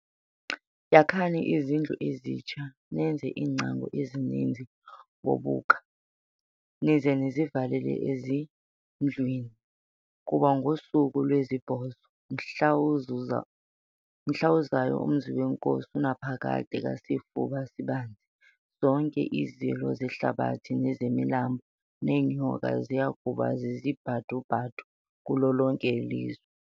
Yakhani izindlu ezintsha, nenze iingcango ezininzi ngobuka, nize nizivalele ezindlwini, kuba ngosuku lwesibhozo, mhla uzayo umzi nenkosi uNaphakade kaSifuba-Sibanzi, zonke izilo zehlabathi nezemilambo, neenyoka, ziyakuba zizibhadu-bhadu kulo lonke ilizwe.